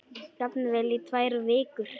Jafnvel í tvær vikur.